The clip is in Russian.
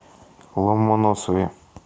ломоносове